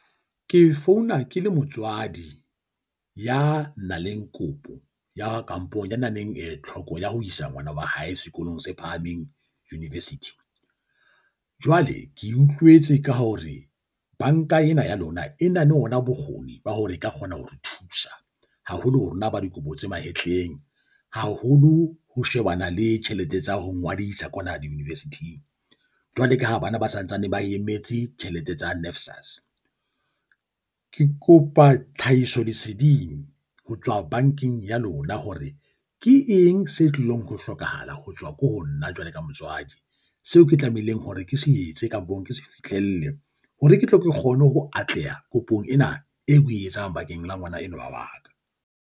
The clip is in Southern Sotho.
Ke founa ke le motswadi ya na leng kopo ya kamponyaneng eh tlhoko ya ho isa ngwana wa hae sekolong se phahameng, university. Jwale ke utlwetse ka hore banka ena ya lona e na le ona bokgoni ba hore e ka kgona ho re thusa haholo ho rona ba dikobo tse mahetleng. Haholo ho shebana le tjhelete tsa ho ngodisa kwana di-university-ing jwale ka ha bana ba santsane ba emetse tjhelete tsa NAFSAS. Ke kopa tlhahiso leseding ho tswa bankeng ya lona, hore ke eng se tlilong ho hlokahala ho tswa ko ho nna jwalo ka motswadi. Seo ke tlamehileng hore ke so etse kampong ke se fihlelle hore ke tle ke kgone ho atleha kopong ena eo o e etsang bakeng la ngwana enwa wa ka.